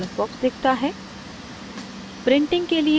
एक नया dialog box दिखता है